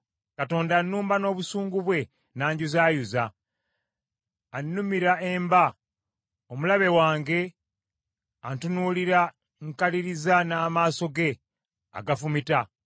Katonda annumba n’obusungu bwe n’anjuzaayuza, annumira emba; omulabe wange antunuulira nkaliriza n’amaaso ge agafumita.